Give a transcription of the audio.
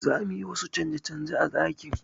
Za mu yi wasu canje-canje a ɗakin.